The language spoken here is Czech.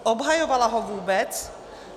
Obhajovalo ho vůbec?